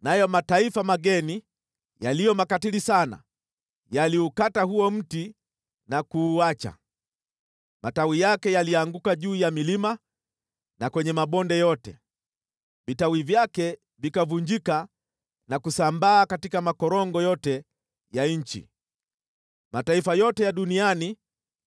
nayo mataifa mageni yaliyo makatili sana yaliukata huo mti na kuuacha. Matawi yake yalianguka juu ya milima na kwenye mabonde yote, vitawi vyake vikavunjika na kusambaa katika makorongo yote ya nchi. Mataifa yote ya duniani